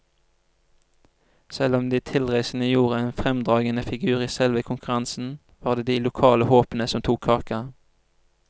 Selv om de tilreisende gjorde en fremragende figur i selve konkurransen, var det de lokale håpene som tok kaka.